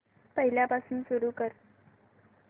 पहिल्यापासून सुरू कर